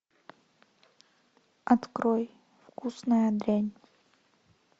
открой вкусная дрянь